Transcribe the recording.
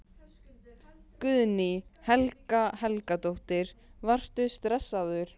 Guðný Helga Helgadóttir: Varstu stressaður?